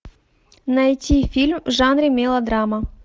найти фильм в жанре мелодрама